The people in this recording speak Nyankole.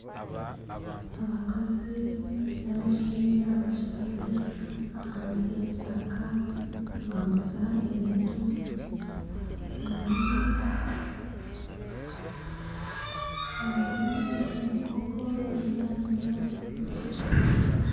Abakazi n'abashaija bashutami ahansi y'emitaka nibaguza ebintu harumu muhogo enyanya .